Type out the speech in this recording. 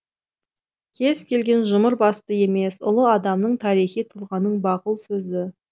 кез келген жұмыр басты емес ұлы адамның тарихи тұлғаның бақұл сөзі